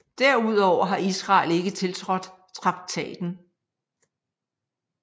Derudover har Israel ikke tiltrådt traktaten